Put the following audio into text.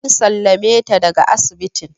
An sallame ta daga asibitin